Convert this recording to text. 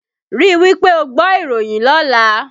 Rí wí pé ó gbọ́ ìròyìn lọ́lá!